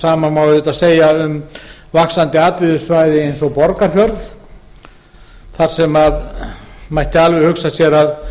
sama má auðvitað segja um vaxandi atvinnusvæði eins og borgarfjörð þar sem mætti alveg hugsa sér að